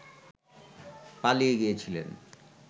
পালিয়ে গিয়েছিলেন